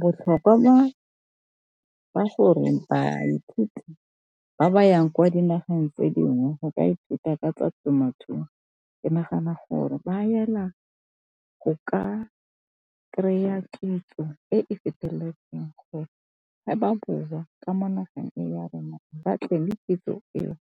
Botlhokwa ba gore baithuti ba ba yang kwa dinageng tse dingwe go ka ithuta ka tsa temothuo ke nagana gore ba yela go ka kry-a kitso e e feteletseng gore ga ba boa ka mo nageng ya rona ba tle ka kitso eo